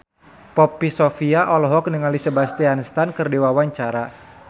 Poppy Sovia olohok ningali Sebastian Stan keur diwawancara